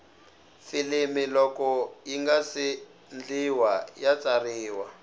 filimi loko yingase ndliwa ya tsariwa